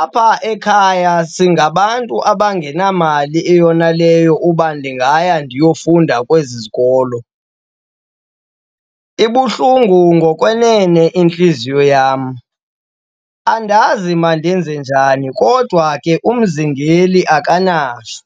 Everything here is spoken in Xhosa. Apha ekhaya singabantu abangenamali eyoneleyo uba ndingaya ndiyofunda kwezi zikolo. Ibuhlungu ngokwenene intliziyo yam, andazi mandenze njani kodwa ke umzingeli akanashwa.